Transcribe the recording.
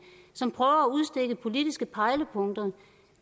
som prøver at udstikke politiske pejlepunkter